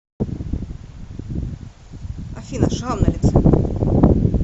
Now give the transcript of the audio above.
афина шрам на лице